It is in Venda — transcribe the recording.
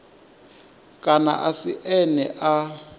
kana a si ene a